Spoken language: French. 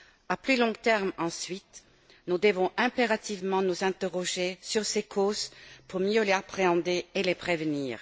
À plus long terme, ensuite, nous devons impérativement nous interroger sur ses causes pour mieux les appréhender et les prévenir.